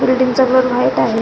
बिल्डींगचा colour white आहे.